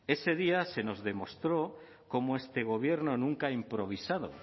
ese día se nos demostró cómo este gobierno nunca ha improvisado